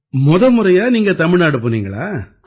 முத முறையா நீங்க தமிழ்நாடு போனீங்களா